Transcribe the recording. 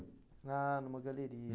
Ah, numa galeria.